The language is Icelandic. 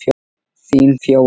Þín Fjóla.